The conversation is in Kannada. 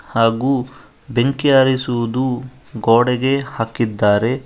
ಹಾಗೂ ಬೆಂಕಿ ಹಾರಿಸುವುದು ಗೋಡೆಗೆ ಹಾಕಿದ್ದಾರೆ.